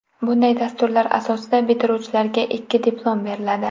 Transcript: Bunday dasturlar asosida bitiruvchilarga ikki diplom beriladi.